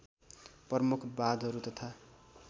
प्रमुख बाँधहरू तथा